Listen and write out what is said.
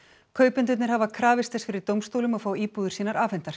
kaupendurnir hafa krafist þess fyrir dómstólum að fá íbúðir sínar afhentar